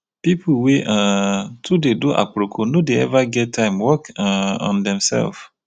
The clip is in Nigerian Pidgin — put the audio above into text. pipu wey um too dey do aproko no dey eva get time work um on themsef.